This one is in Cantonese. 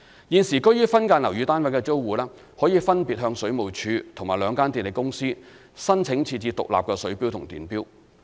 現時居於分間樓宇單位的租戶，可分別向水務署及兩間電力公司申請設置獨立水錶及電錶。